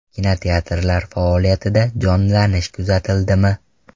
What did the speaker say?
Kinoteatrlar faoliyatida jonlanish kuzatildimi?